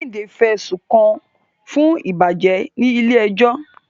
Kehinde fẹ̀sùn kàn án fún ìbàjẹ́ ní ilé ẹjọ́.